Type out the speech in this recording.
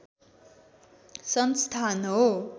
संस्थान हो